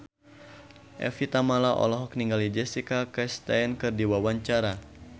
Evie Tamala olohok ningali Jessica Chastain keur diwawancara